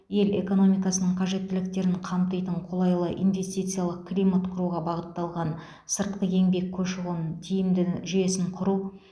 ел экономикасының қажеттіліктерін қамтитын қолайлы инвестициялық климат құруға бағытталған сыртқы еңбек көші қонын тиімді жүйесін құру